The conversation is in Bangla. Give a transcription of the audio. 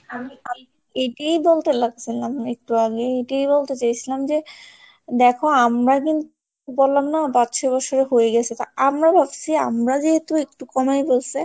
আমি এটাই বলতে লাগছিলাম একটু আগে এটাই বলতে চাইছিলাম যে দেখো আমরা কিন্তু বললাম না পাঁচ ছ'বছরে হয়ে গেছে তো আমরা ভাবছি আমরা যেহেতু একটু কমেই হইছে।